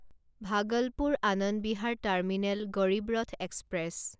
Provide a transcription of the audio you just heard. Bhagalpur Anand Vihar terminal Garib Rath express